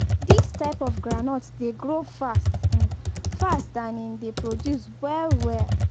dis type of groundnut dey grow fast-fast and im dey produce well well